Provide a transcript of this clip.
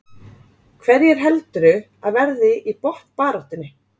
Hverjir heldurðu að verði í botnbaráttunni?